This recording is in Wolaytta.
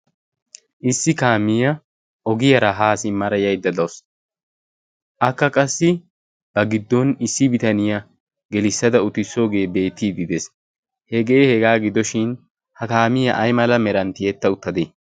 issi kaamiyaa ogiyaara haa simmara yaidda daus akka qassi ba giddon issi bitaniyaa gelissada utissoogee beetiididees hegee hegaa gidoshin ha kaamiyaa ay mala meranttiyetta uttadee?